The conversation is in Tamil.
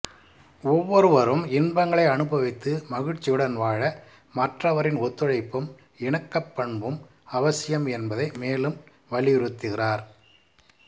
ஓவ்வொருவரும் இன்பங்களை அனுபவித்து மகிழ்ச்சியுடன் வாழ மற்றவரின் ஒத்துழைப்பும் இணக்கப்பண்பும் அவசியம் என்பதை மேலும் வலியுறுத்துகிறார்